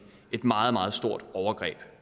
meget meget stort overgreb